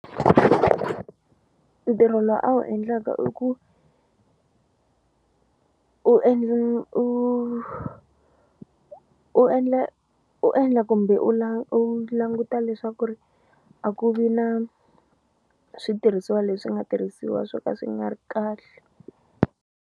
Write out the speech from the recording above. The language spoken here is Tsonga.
Ntirho lowu a wu endlaka i ku u endla u u endla u endla kumbe u u languta leswaku ri a ku vi na switirhisiwa leswi nga tirhisiwa swo ka swi nga ri kahle.